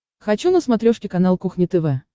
хочу на смотрешке канал кухня тв